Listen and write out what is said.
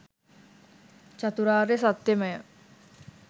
චතුරාර්ය සත්‍යමය.